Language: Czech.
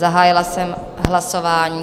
Zahájila jsem hlasování.